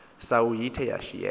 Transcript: sawo ithe yashiyeka